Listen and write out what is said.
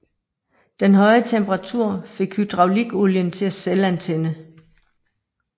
Den høje temperatur fik hydraulikolien til at selvantænde